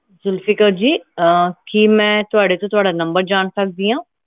ਜ਼ੁਲਫ਼ੀਕ਼ਰ ਜੀ ਕੀ ਮਈ ਤੁਹਾਡੇ ਤੋਂ ਤੁਹਾਡਾ number ਜਾਣ ਸਕਦੀ ਆ